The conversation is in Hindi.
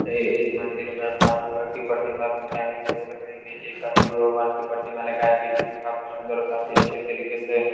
ऐ इस मंदिर में माँ दुर्गा की परतीमा भगवान की परतीमा लगाई है जो कि काफी सुंदर और काफी अच्छे तरीके से --